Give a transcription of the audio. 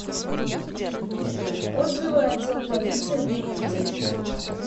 отзывы отдел полиции номер девять